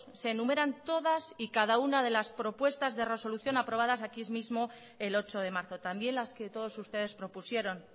se enumeran todas y cada una de las propuestas de resolución aprobadas aquí mismo el ocho de marzo también las que todos ustedes propusieron